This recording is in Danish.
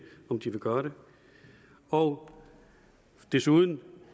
om de vil gøre det og desuden